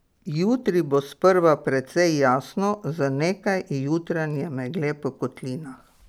Jutri bo sprva precej jasno z nekaj jutranje megle po kotlinah.